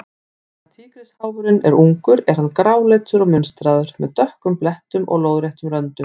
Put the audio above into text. Meðan tígrisháfurinn er ungur er hann gráleitur og munstraður, með dökkum blettum og lóðréttum röndum.